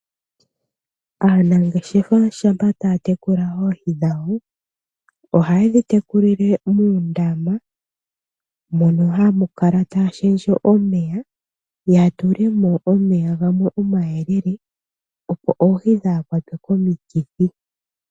Aanangeshefa shampa taya tekula oohi dhawo, ohaye dhi tekulile muundama, mono haya kala taya shendje omeya ya tulemo omeya gamwe omayelele, opo oohi kadhi kwatwe komikithi.